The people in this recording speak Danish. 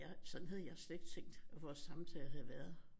Jeg sådan havde jeg slet ikke tænkt at vores samtale havde været